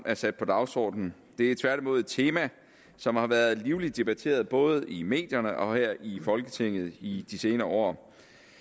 er sat på dagsordenen det er tværtimod et tema som har været livligt debatteret både i medierne og her i folketinget i de senere år